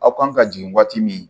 Aw kan ka jigin waati min